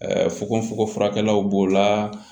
Ɛ fogofogofurakɛlaw b'o la